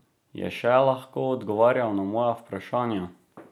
Je še lahko odgovarjal na moja vprašanja?